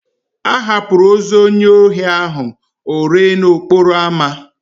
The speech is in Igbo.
A hapụrụ ozu onye ohi ahụ o ree n'okporo amá.